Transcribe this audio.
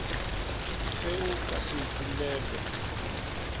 fe o ka se utollelwe